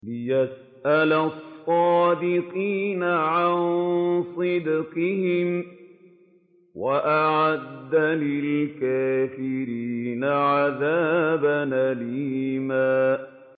لِّيَسْأَلَ الصَّادِقِينَ عَن صِدْقِهِمْ ۚ وَأَعَدَّ لِلْكَافِرِينَ عَذَابًا أَلِيمًا